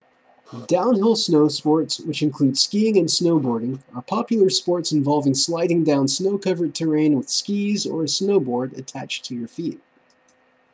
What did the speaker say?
downhill snowsports which include skiing and snowboarding are popular sports involving sliding down snow-covered terrain with skis or a snowboard attached to your feet